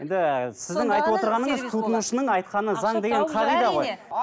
сіздің айтып отырғаныңыз тұтынушының айтқаны заң деген қағида ғой